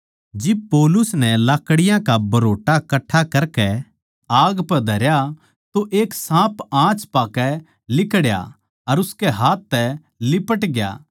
जिब पौलुस नै लाकड़ीयाँ का भरोटा कट्ठा करकै आग पै धरया तो एक साँप आँच पाकै लिकड़या अर उसकै हाथ तै लिपट गया